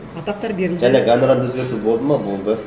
атақтар берілді жаңағы әнұранды өзгерту болды ма болды